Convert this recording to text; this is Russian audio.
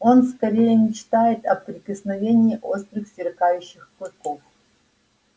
он скорее мечтает о прикосновении острых сверкающих клыков